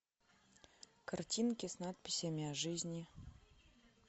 картинки с надписями о жизни